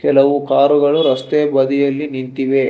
ಕೆಲವು ಕಾರುಗಳು ರಸ್ತೆಯ ಬದಿಯಲ್ಲಿ ನಿಂತಿವೆ.